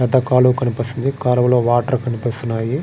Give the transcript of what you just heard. పెద్ద కాలువ కనిపిస్తుంది కాలువలో వాటర్ కనిపిస్తున్నాయి.